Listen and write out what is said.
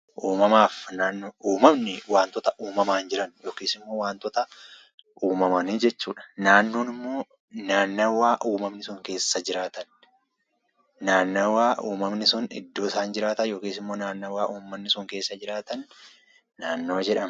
Uumama jechuun waantota uumamaan jiran yookiin waantota uumaman jechuudha. Naannoo jechuun immoo naannawaa uumamni sun keessa jiraatan jechuudha.